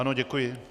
Ano, děkuji.